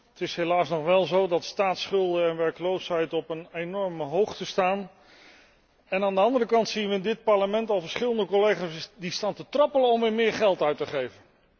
Het is helaas nog wel zo dat staatsschulden en werkloosheid op een enorme hoogte staan. Aan de andere kant zien we in dit Parlement al verschillende collega's die staan te trappelen om weer meer geld uit te geven.